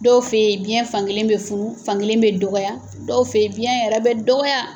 Dɔw fɛ yen biɲɛ fankelen bɛ funu fankelen bɛ dɔgɔya, dɔw fɛ ye biɲɛ yɛrɛ bɛ dɔgɔya.